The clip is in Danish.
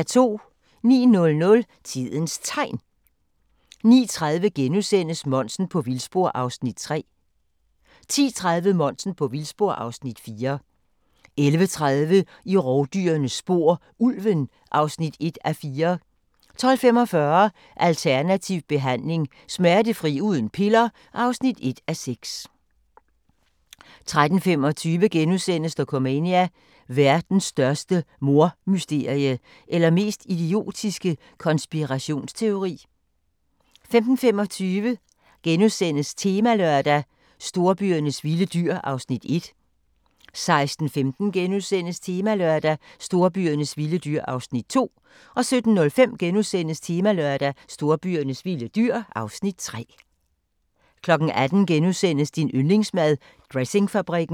09:00: Tidens Tegn 09:30: Monsen på vildspor (Afs. 3)* 10:30: Monsen på vildspor (Afs. 4) 11:30: I rovdyrenes spor: Ulven (1:4) 12:45: Alternativ behandling – Smertefri uden piller (1:6) 13:25: Dokumania: Verdens største mordmysterie – eller mest idiotiske konspirationsteori? * 15:25: Temalørdag: Storbyernes vilde dyr (Afs. 1)* 16:15: Temalørdag: Storbyernes vilde dyr (Afs. 2)* 17:05: Temalørdag: Storbyernes vilde dyr (Afs. 3)* 18:00: Din yndlingsmad: Dressingfabrikken *